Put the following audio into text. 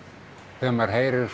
þegar maður heyrir